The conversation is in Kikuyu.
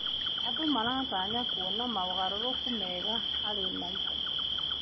Andũ maratanya kuona mogarũrũku mega harĩ maica.